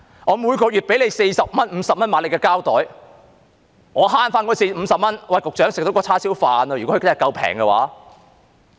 我每月支付四五十元購買指定的膠袋，如可節省這50元，局長，便已足夠吃一盒叉燒飯。